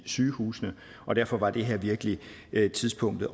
sygehusene og derfor var det her virkelig tidspunktet